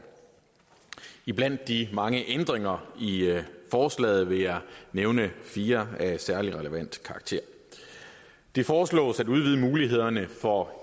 blandt de mange ændringer i forslaget vil jeg nævne fire af særlig relevant karakter det foreslås at udvide mulighederne for at